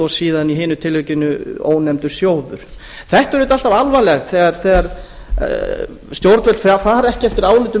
og síðan í hinu tilvikinu ónefndur sjóður það er auðvitað alltaf alvarlegt þegar stjórnvöld fara ekki eftir álitum